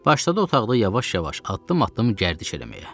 Başladı otaqda yavaş-yavaş addım-addım gərdiş eləməyə.